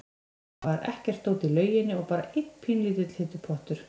Það var ekkert dót í lauginni og bara einn pínulítill heitur pottur.